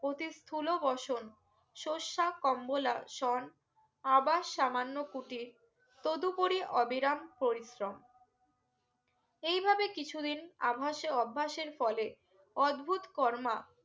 অতিত স্থুল বসন সস্যা কম্বলা সং আবার সামান্য পুতিত তদুপুরি অবিরাম পরিশ্রম এই ভাবে কিছু দিন আভাসে অভ্যাসের ফলে অদ্ভত কর্মা